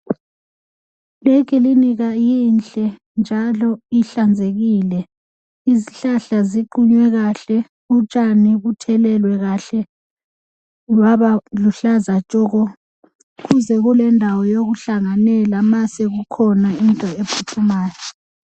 likilinika inhle njalo ihlanzekile izihlahla ziqunywe kahle utshani buthelelwe kahle babaluhlaza tshoko kuze kulendawo yokuhlanganela ma sekukhona into ephuthumayo